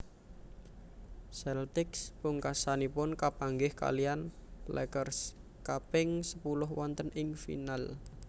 Celtics pungkasanipun kapanggih kaliyan Lakers kaping sepuluh wonten ing final